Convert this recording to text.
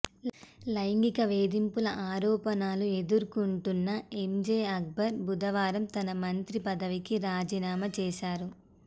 లైంగిక వేధింపుల ఆరోపణలు ఎదుర్కొంటున్న ఎంజే అక్బర్ బుధవారం తన మంత్రి పదవికి రాజీనామా చేశారు